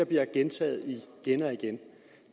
bliver gentaget